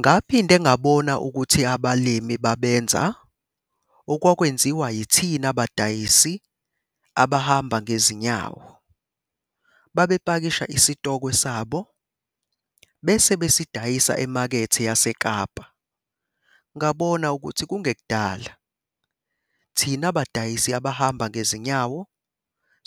"Ngaphinde ngabona ukuthi abalimi babenza okwakwenziwa yithina badayisi abahamba ngezinyawo - babepakisha isitokwe sabo bese besidayisa eMakethe yaseKapa. Ngabona ukuthi kungekudala thina badayisi abahamba ngezinyawo